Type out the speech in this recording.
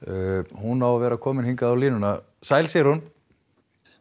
hún á að vera komin hingað á línuna sæl Sigrún